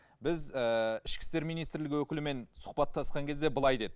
біз ы ішкі істер минситрлігі өкілімен сұқбаттасқан кезде былай деді